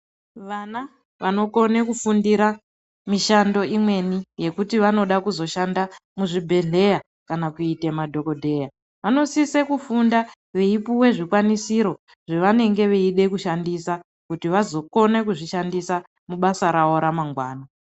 Vana vanolwanisa kufundira mishando imweni yekuti vanoda kuzoshanda muzvibhedhlera kana kuite madhogodheya vanosise kufunda veipuwa zvikwanisiro zvawanenge vaide kushandise kuti vazokone kuzvishandisa mubasa ravo ramangwana.